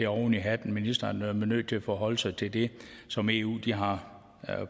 oven i hatten ministeren er nødt til at forholde sig til det som eu har